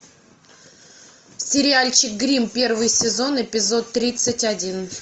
сериальчик гримм первый сезон эпизод тридцать один